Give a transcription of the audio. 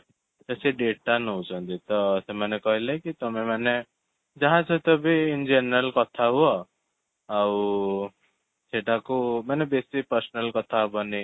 ତ ସେ data ନେଉଛନ୍ତି ତ ସେମାନେ କହିଲେ କି ତମେମାନେ ଯାହା ସହିତ ବି in general କଥା ହୁଅ ଆଉ ସେଟାକୁ ମାନେ ବେଶୀ personal କଥା ହବନି